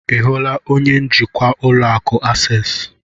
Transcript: Ị hụrụ onye njikwa ụlọ akụ Akses?